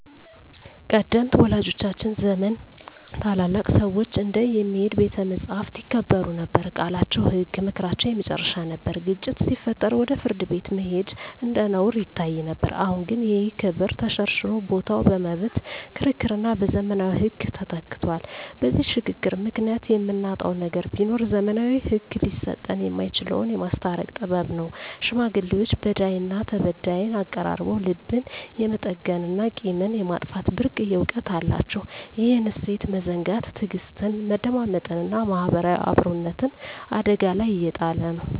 ቀደምት ወላጆቻችን ዘመን ታላላቅ ሰዎች እንደ "የሚሄድ ቤተ መጻሕፍት" ይከበሩ ነበር፤ ቃላቸው ህግ፣ ምክራቸው የመጨረሻ ነበር። ግጭት ሲፈጠር ወደ ፍርድ ቤት መሄድ እንደ ነውር ይታይ ነበር። አሁን ግን ይህ ክብር ተሸርሽሮ ቦታው በመብት ክርክርና በዘመናዊ ህግ ተተክቷል። በዚህ ሽግግር ምክንያት የምናጣው ነገር ቢኖር፣ ዘመናዊው ህግ ሊሰጠን የማይችለውን "የማስታረቅ ጥበብ" ነው። ሽማግሌዎች በዳይና ተበዳይን አቀራርበው ልብን የመጠገንና ቂምን የማጥፋት ብርቅዬ እውቀት አላቸው። ይህን እሴት መዘንጋት ትዕግስትን፣ መደማመጥንና ማህበራዊ አብሮነትን አደጋ ላይ እየጣለ ነው።